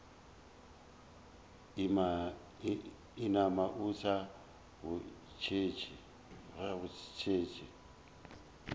inama o sa go šetše